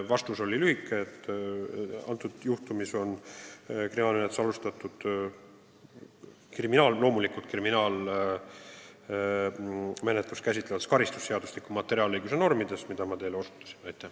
Vastus oli lühike: selle juhtumi korral on kriminaalmenetlus alustatud loomulikult vastavalt kriminaalmenetlust käsitleva karistusseadustiku materiaalõiguse normidele.